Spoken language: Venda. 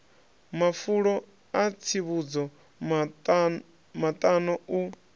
mafulo a tsivhudzo maṱano u